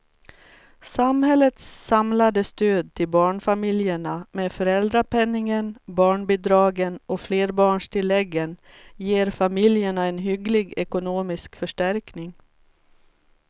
Samhällets samlade stöd till barnfamiljerna med föräldrapenningen, barnbidragen och flerbarnstilläggen ger familjerna en hygglig ekonomisk förstärkning.